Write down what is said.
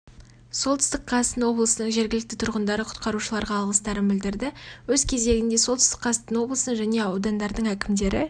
солтүстік қазақстан облысының жергілікті тұрғындары құтқарушыларға алғыстарын білдірді өз кезегінде солтүстік қазақстан облысының және аудандардың әкімдері